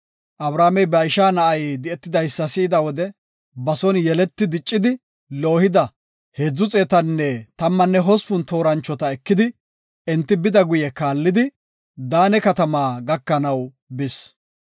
Abramey ba isha na7ay di7etidaysa si7ida wode ba son yeleti diccidi loohida 318 tooranchota ekidi enta geedo kaallidi Daane katama gakanaw bis.